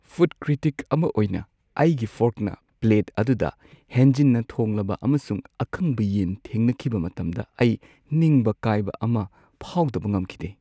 Food critic ꯑꯃ ꯑꯣꯏꯅ, ꯑꯩꯒꯤ ꯐꯣꯔꯛꯅ ꯄ꯭ꯂꯦꯠ ꯑꯗꯨꯗ ꯍꯦꯟꯖꯤꯟꯅ ꯊꯣꯡꯂꯕ ꯑꯃꯁꯨꯡ ꯑꯀꯪꯕ ꯌꯦꯟ ꯊꯦꯡꯅꯈꯤꯕ ꯃꯇꯝꯗ ꯑꯩ ꯅꯤꯡꯕ ꯀꯥꯏꯕ ꯑꯃ ꯐꯥꯎꯗꯕ ꯉꯝꯈꯤꯗꯦ꯫